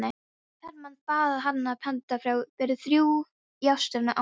Hermann bað hana að panta fyrir þrjá í austari ána.